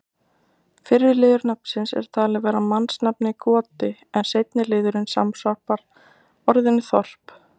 Fyrri liður nafnsins er talinn vera mannsnafnið Goti en seinni liðurinn samsvarar orðinu þorp.